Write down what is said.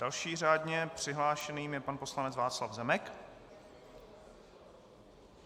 Dalším řádně přihlášeným je pan poslanec Václav Zemek.